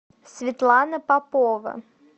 светлана попова